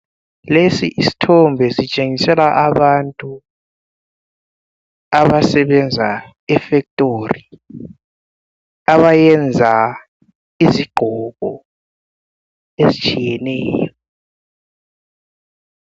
Lesi isithombe sitshengisela abantu abasebenza efactory abayenza izigqoko ezitshiyeneyo.